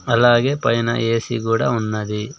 అలాగే పైన ఏ_సి కూడా ఉన్నది.